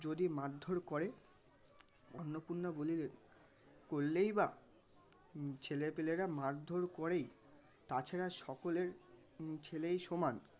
যদি মারধর করে অন্নপূর্ণা বলিলেন করলেই বা ছেলেপিলেরা মারধর করেই তাছাড়া সকলের উম ছেলেই সমান